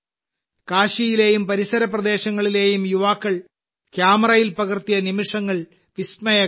കാശിയിലെയും പരിസര പ്രദേശങ്ങളിലെയും യുവാക്കൾ ക്യാമറയിൽ പകർത്തിയ നിമിഷങ്ങൾ വിസ്മയകരമാണ്